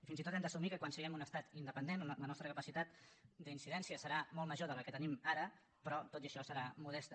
fins i tot hem d’assumir que quan siguem un estat independent la nostra capacitat d’incidència serà molt major de la que tenim ara però tot i això serà modesta